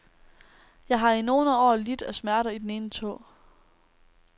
Jeg har i nogle år lidt af smerter i den ene tå.